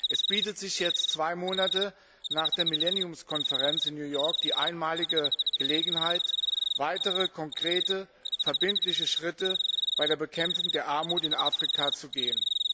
Es bietet sich jetzt zwei Monate nach der Millenniumskonferenz in New York die einmalige Gelegenheit, weitere konkrete verbindliche Schritte bei der Bekämpfung der Armut in Afrika zu gehen.